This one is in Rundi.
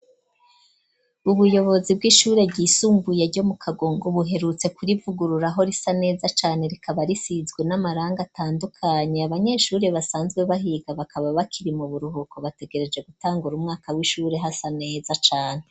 Ubuyobozi bw'ishuri ryisumbuye ryo mu kagongo buherutse kuri ivugururaho risa neza cane rikaba risizwe n'amaranga atandukanye . Abanyeshuri basanzwe bahiga bakaba bakiri mu buruhuko bategereje gutangura umwaka w'ishuri hasa neza cane.